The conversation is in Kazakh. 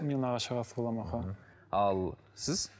мен нағашы ағасы боламын аха ал сіз